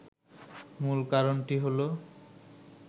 মূল কারণটি হল